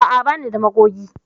A'a, ba ni da magogi.